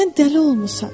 sən dəli olmusan.